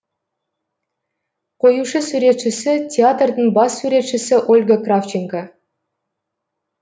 қоюшы суретшісі театрдың бас суретшісі ольга кравченко